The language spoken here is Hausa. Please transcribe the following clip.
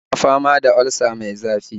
Yana fama da olsa mai zafi